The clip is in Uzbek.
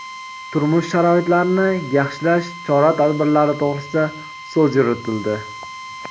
turmush sharoitlarini yaxshilash chora-tadbirlari to‘g‘risida so‘z yuritildi.